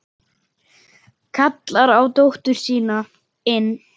Kallar á dóttur sína inn.